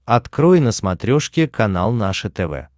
открой на смотрешке канал наше тв